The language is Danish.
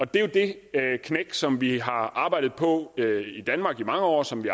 det er det knæk som vi har arbejdet på at få i danmark i mange år og som vi